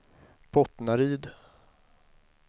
Bottnaryd